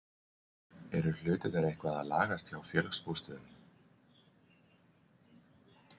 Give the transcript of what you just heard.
Eru hlutirnir eitthvað að lagast hjá Félagsbústöðum?